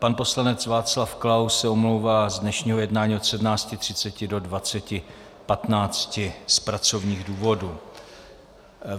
Pan poslanec Václav Klaus se omlouvá z dnešního jednání od 17.30 do 20.15 z pracovních důvodů.